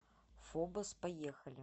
фобос поехали